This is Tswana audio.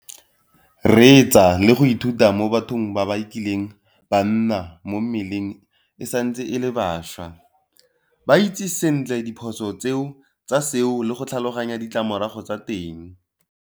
Reetsa le go ithuta mo bathong ba ba kileng ba nna mo mmeleng e santse e le bašwa. Ba itse sentle diphoso tsa seo le go tlhaloganya ditlamorago tsa teng.